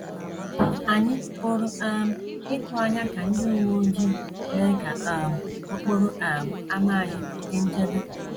Ànyị pụrụ um ịtụ anya ka ndị uwe ojii mee ka um okporo um ámá anyị dị nchebe?